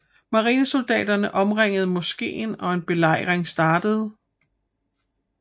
Marinesoldaterne omringede moskeen og en belejring startede